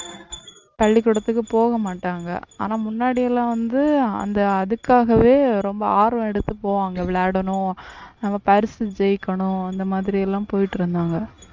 பள்ளிக்கூடத்துக்கு போக மாட்டாங்க ஆனா முன்னாடி எல்லாம் வந்து அந்த அதுக்காகவே ரொம்ப ஆர்வம் எடுத்து போவாங்க விளையாடணும் நம்ம பரிசு ஜெயிக்கணும் அந்த மாதிரி எல்லாம் போயிட்டு இருந்தாங்க